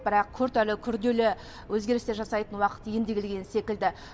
бірақ күрт әрі күрделі өзгерістер жасайтын уақыт енді келген секілді